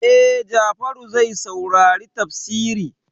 E, Jafaru zai saurari tafsiri.